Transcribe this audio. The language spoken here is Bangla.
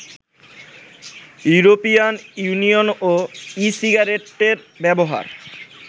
ইউরোপিয়ান ইউনিয়নও ই-সিগারেটের ব্যবহার